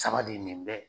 Saba de nin bɛ